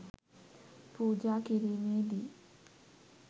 පූජා කිරීමේදී